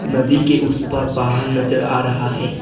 नदी के उस पार पहाड़ नजर आ रहा है।